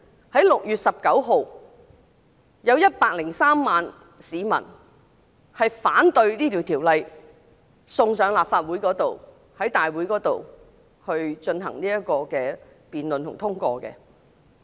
在6月9日有103萬市民上街，反對將該條例草案直接提交上立法會大會準備通過。